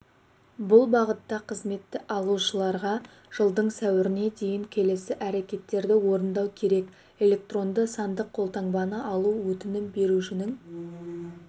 бұл бағытта қызметті алушыларға жылдың сәуіріне дейін келесі әрекеттерді орындау керек электронды-сандық қолтаңбаны алу өтінім берушінің